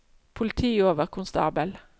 politioverkonstabel